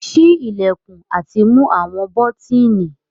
Ṣii ilẹkun ati mu awọn bọtini